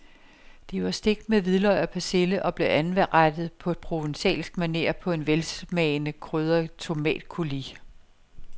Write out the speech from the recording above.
De var stegt med hvidløg og persille og blev anrettet på provencalsk maner på en velsmagende krydret tomatcoulis.